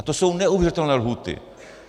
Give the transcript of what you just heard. A to jsou neuvěřitelné lhůty.